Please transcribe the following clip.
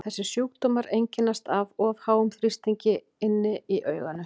Þessir sjúkdómar einkennast af of háum þrýstingi inni í auganu.